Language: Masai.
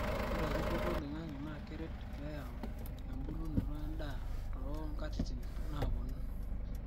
ore eripoto oloingangi na keret peeyau embulunoto endaa too nkatitin naaponu